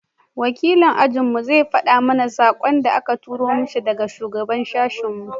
wakilin ajin mu zai fada mana sakon da a ka tura mishi daga shugaban sashin mu